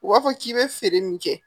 U b'a fɔ k'i bɛ feere min kɛ